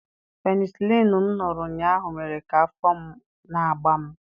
Penisilinụ m ṅụrụ ụnyahụ mere ka afọ na-agba m.